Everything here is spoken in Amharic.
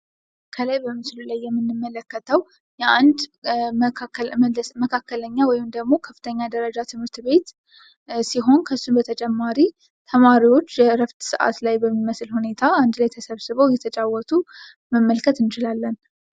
ከላይ በምስሉ ላይ የምንመለከተው የአንድ መካከለኛ ወይም ደሞ ከፍተኛ ደረጃ ትምህርት ቤት ሲሆን ከሱ በተጨማሪ ተማሪዎች የእረፍት ሰአት በሚመስል ሁኔታ አንድ ላይ ተሰብስበው እየተጫወቱ መመልከት እንችላለን።